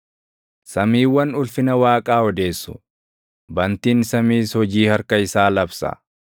Samiiwwan ulfina Waaqaa odeessu; bantiin samiis hojii harka isaa labsa.